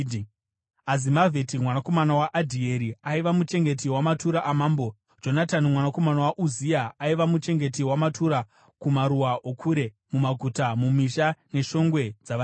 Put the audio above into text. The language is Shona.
Azimavheti mwanakomana waAdhieri aiva muchengeti wamatura amambo. Jonatani mwanakomana waUzia aiva muchengeti wamatura kumaruwa okure, mumaguta, mumisha neshongwe dzavarindi.